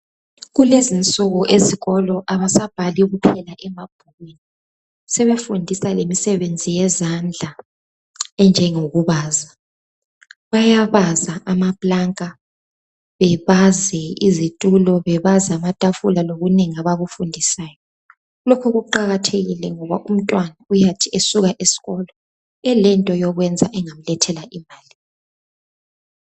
Kulezi insuku esikolo kabasabhali kuphela emabhukwini..Sebefundisa lemisebenzi yezandla, enjengokubaza.,Bayabaza amaplanka. Bebaze izitulo. Bebaze amatafula. Lokunengi abakufundiswayo.,Lokhu kuqakathekile ngoba umntwana, uyathi esuka esikolo elento yokwenza engamlethela imali.